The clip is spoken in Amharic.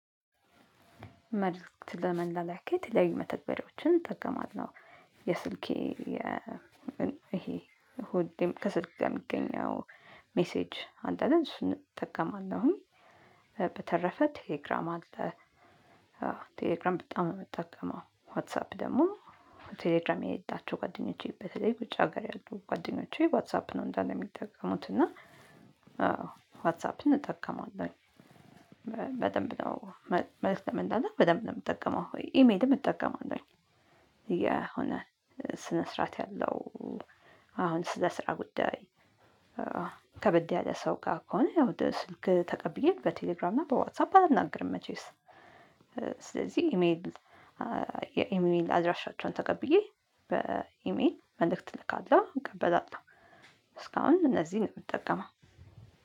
መልእክት ለመላላክ የተለያዩ መተግበሪያዎችን እጠቀማለሁ የስልኬ ይሄ እሁድ ከሰልክ ጋር የሚገኘው ሜሴጅ አለ አይደል እሱን እጠቀማለሁኝ። በተረፈ ቴሌግራም አለ። ቴሌግራም በጣም ነው የምጠቀመው ዋትሳፕ ደግሞ። ቴሌግራም የሌላቸው ጓደኞቼ በተለይ ውጭ ሀገር ያሉ ጓደኞቼ ዋትሳፕ ነው እንዳለ የሚጠቀሙት እና ዋትስ አፕን እጠቀማለሁኝ። በደንብ ነው መልእክት ለመላላክ በደንብ ነው የምጠቀመው ኢ ሜይልም እጠቀማለሁኝ። የሆነ ስነ ስርዓት ያለው አሁን ስለ ስራ ጉዳይ። ከበድ ያለ ሰው ጋር ከሆነ ያው ስልክ ተቀብዬ በቴሌግራም እና በዋትሳፕ አላናግርም። መቼስ ስለዚህ ኢሜል የኢሜል አድራሻቸውን ተቀብዬ በኢሜል መልእክት እልካለሁ እቀበላለሁ። እስካሁን እነዚህን ነው የምጠቀመው።